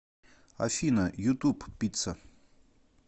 афина ютуб пицца